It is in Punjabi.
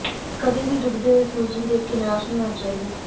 ਕਦੇ ਵੀ ਡੁੱਬਦੇ ਹੋਏ ਸੂਰਜ ਨੂੰ ਦੇਖ ਕੇ ਨਿਰਾਸ਼ ਨਹੀਂ ਹੋਣਾ ਚਾਹੀਦਾ